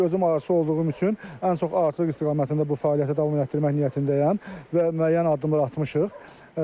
Özüm arıçılıq olduğum üçün ən çox arıçılıq istiqamətində bu fəaliyyəti davam etdirmək niyyətindəyəm və müəyyən addımlar atmışıq.